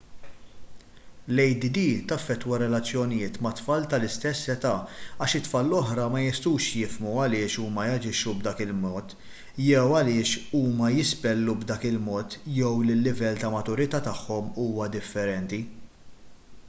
l-add taffettwa r-relazzjonijiet mat-tfal tal-istess età għax it-tfal l-oħra ma jistgħux jifhmu għaliex huma jaġixxu b'dak il-mod jew għaliex huma jispellu b'dak il-mod jew li l-livell tal-maturità tagħhom huwa differenti